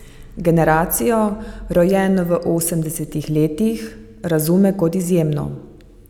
Generacijo, rojeno v osemdesetih letih, razume kot izjemno.